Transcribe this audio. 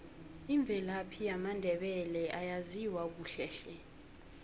imvelaphi yamandebele ayaziwa kuhle hle